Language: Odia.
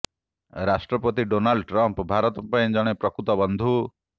ରାଷ୍ଟ୍ରପତି ଡୋନାଲ୍ଡ ଟ୍ରମ୍ପ୍ ଭାରତ ପାଇଁ ଜଣେ ପ୍ରକୃତ ବନ୍ଧୁ